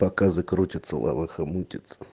показы крутятся лавэха мутится